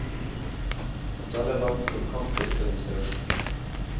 Han taler varmt om kamplyst og inspirasjon.